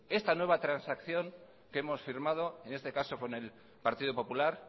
esta nueva transacción que hemos firmado en este caso con el partido popular